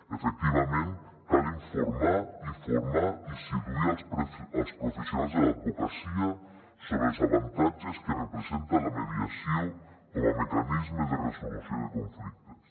efectivament cal informar i formar i seduir els professionals de l’advocacia sobre els avantatges que representa la mediació com a mecanisme de resolució de conflictes